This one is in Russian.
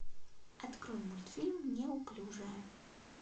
открой мультфильм неуклюжая